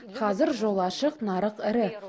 қазір жол ашық нарық ірі